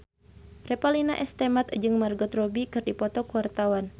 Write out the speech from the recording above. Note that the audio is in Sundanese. Revalina S. Temat jeung Margot Robbie keur dipoto ku wartawan